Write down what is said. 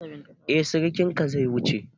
Eh sirikinka zai wuce.